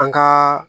An ka